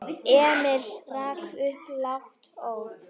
Emil rak upp lágt óp.